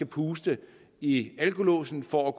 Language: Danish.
puste i alkolåsen for at